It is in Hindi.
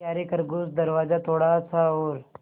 यारे खरगोश दरवाज़ा थोड़ा सा और